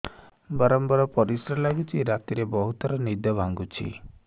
ବାରମ୍ବାର ପରିଶ୍ରା ଲାଗୁଚି ରାତିରେ ବହୁତ ଥର ନିଦ ଭାଙ୍ଗୁଛି